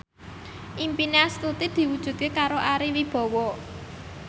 impine Astuti diwujudke karo Ari Wibowo